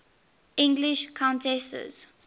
english countesses